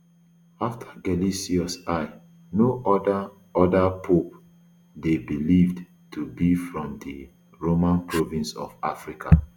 afta gelasius i no oda oda pope dey believed to be from di roman province of africa